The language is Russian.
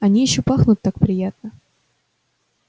они ещё пахнут так приятно